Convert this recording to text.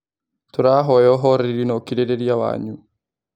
Tũrahoya uhoreri na ũkirĩ rĩ ria wanyu